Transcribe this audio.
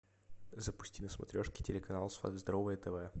запусти на смотрешке телеканал здоровое тв